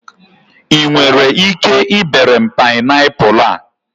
I nwere ike ibere m paịnapụlụ a?